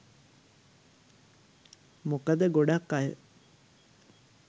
මොකද ගොඩක් අය